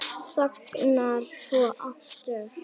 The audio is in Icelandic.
Þagnar svo aftur.